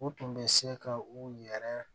U tun bɛ se ka u yɛrɛ